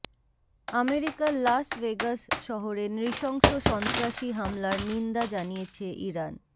আমেরিকার Las Vegas শহরে নৃশংস সন্ত্রাসী হামলার নিন্দা জানিয়েছে ইরান